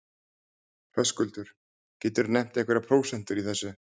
Höskuldur: geturðu nefnt einhverjar prósentur í þessu?